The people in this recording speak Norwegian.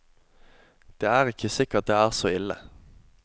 Det er ikke sikkert det er så ille.